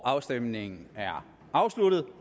afstemningen er afsluttet